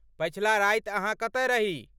पछिला राति अहाँ कतय रही?